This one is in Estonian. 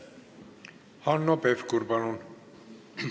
Hanno Pevkur, palun!